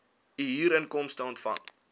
u huurinkomste ontvang